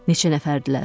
Neçə nəfərdilər?